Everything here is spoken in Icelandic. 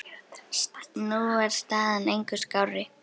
Nú er staðan engu skárri.